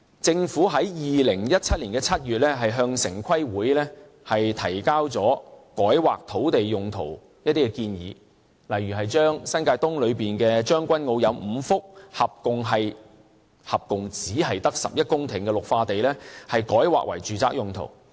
政府在2017年7月向城市規劃委員會提交改劃土地用途的建議，例如將新界東的將軍澳中有5幅合共只有11公頃的綠化地改劃為住宅用途。